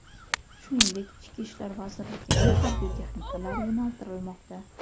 shuningdek Ichki ishlar vazirligining harbiy texnikalari yo‘naltirilmoqda.